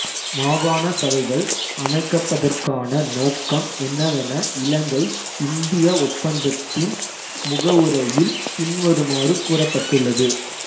மாகாண சபைகள் அமைக்கப்பதற்கான நோக்கம் என்னவென இலங்கைஇந்திய ஒப்பந்தத்தின் முகவுரையில் பின்வருமாறு கூறப்பட்டுள்ளது